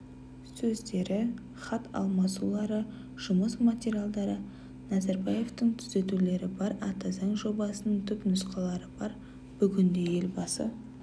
сөздері хат алмасулары жұмыс материалдары назарбаевтың түзетулері бар ата заң жобасының түпнұсқалары бар бүгінде елбасы